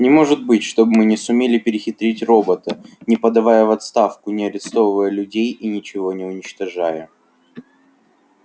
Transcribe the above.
не может же быть чтобы мы не сумели перехитрить робота не подавая в отставку не арестовывая людей и ничего не уничтожая